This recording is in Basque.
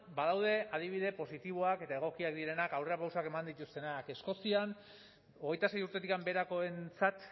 badaude adibide positiboak eta egokiak direnak aurrerapausoak eman dituztenak eskozian hogeita sei urtetik beherakoentzat